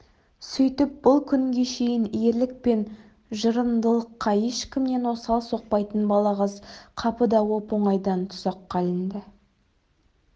сүйтіп бұл күнге шейін ерлік пен жырындылыққа ешкімнен осал соқпайтын балағаз қапыда оп-оңайдан тұзаққа ілінді